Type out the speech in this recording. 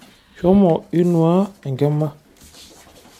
Shomo inuaa enkima.